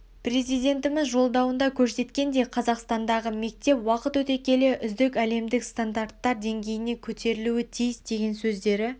президентіміз жолдауында көрсеткендей қазақстандағы мектеп уақыт өте келе үздік әлемдік стандарттар деңгейіне көтерілуі тиіс деген сөздері